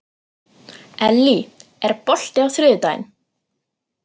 Ellý, er bolti á þriðjudaginn?